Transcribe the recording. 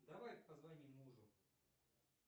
давай позвоним мужу